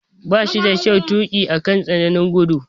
Ba shi da kyau tuki akan tsananin gudu.